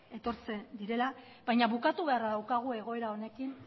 etortzen direla baina bukatu beharra daukagu egoera honekin